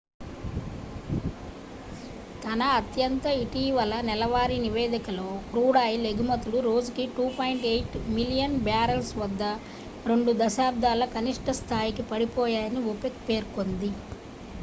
తన అత్యంత ఇటీవల నెలవారీ నివేదికలో క్రూడాయిల్ ఎగుమతులు రోజుకు 2.8 మిలియన్ బ్యారల్స్ వద్ద రెండు దశాబ్దాల కనిష్ట స్థాయికి పడిపోయాయని ఒపెక్ పేర్కొంది